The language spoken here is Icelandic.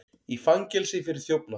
Í fangelsi fyrir þjófnað